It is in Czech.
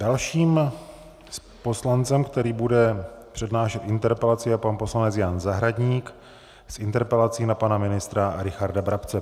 Dalším poslancem, který bude přednášet interpelaci, je pan poslanec Jan Zahradník s interpelací na pana ministra Richarda Brabce.